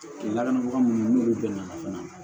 Lakanabaga minnu n'olu bɛɛ nana fana